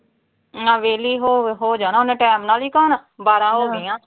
ਨਾ ਵਿਹਲੀ ਹੋ ਹੋ ਜਾਣਾ ਉਹਨੇ ਟਾਈਮ ਨਾਲ ਈ ਹੁਣ, ਬਾਰਾਂ ਹੋ ਗੀਆਂ।